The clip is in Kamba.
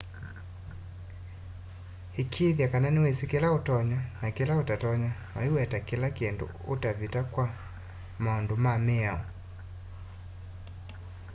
ikiithya kana niwisi kila utonya na kila utatonya na uiweta kila kindu utavita kwa maundu ma miao